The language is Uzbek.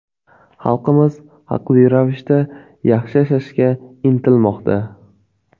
Xalqimiz haqli ravishda yaxshi yashashga intilmoqda.